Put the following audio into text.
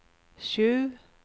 sju